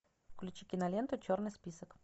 включи киноленту черный список